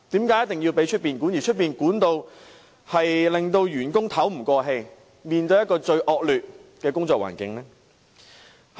再者，外面的管理令有關員工透不過氣，須面對最惡劣的工作環境。